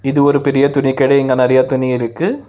இது ஒரு பெரிய துணி கடை இங்க நெறைய துணி இருக்கு.